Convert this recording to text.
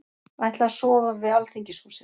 Ætla að sofa við Alþingishúsið